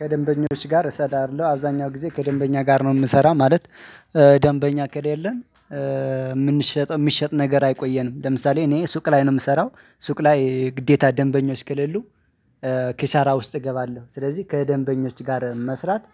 ከደንበኞች ጋር እሰራለሁ አብዛኛው ጊዜ ከደንበኛ ጋር ነው የምሰራው ማለት። ደንበኛ ከሌለን የምንሸጠው የሚሸጥ ነገር አይቆየንም። ለምሳሌ እኔ ሱቅ ላይ ነው የምሰራው። ሱቅ ላይ ግዴታ ደንበኞች ከሌሉ ኪሳራ ውስጥ እገባለሁ። ስለዚህ ከደንበኞች ጋር መስራት